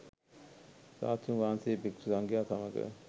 ශාස්තෘන් වහන්සේ භික්‍ෂු සංඝයා සමග